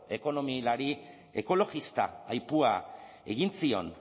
ekonomilari ekologista aipua egin zion